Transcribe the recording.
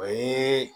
O ye